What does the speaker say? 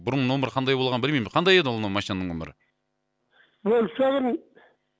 бұрын нөмірі қандай болғанын білмеймін қандай еді ол машинаның нөмірі фольксваген